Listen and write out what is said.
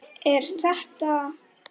Er þetta.